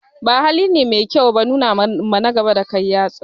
Ba haline mai kyau ba nunawa na gaba dakai ɗan yatsa